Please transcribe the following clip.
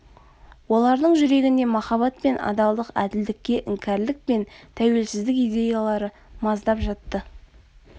олардың жүрегінде махаббат пен адалдық әділдікке іңкәрлік пен тәуелсіздік идеялары маздап жатты